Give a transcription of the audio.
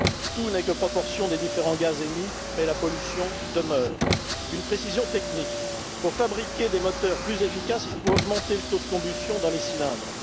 tout n'est que proportion des différents gaz émis, mais la pollution demeure. Une précision technique pour fabriquer des moteurs plus efficaces, il faut augmenter le taux de combustion dans les cylindres.